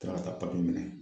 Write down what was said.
Ka tila ka taa papiye minɛ.